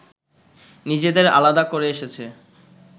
নিজেদের আলাদা করে এসেছে